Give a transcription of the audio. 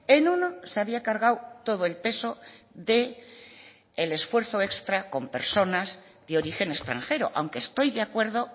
en uno se había cargado todo el peso del esfuerzo extra con personas de origen extranjero aunque estoy de acuerdo